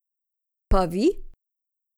Pa vi?